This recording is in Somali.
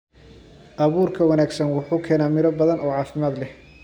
Abuurka wanaagsan wuxuu keenaa miro badan oo caafimaad leh.